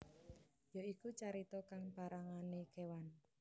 Ya iku carita kang parangane kewan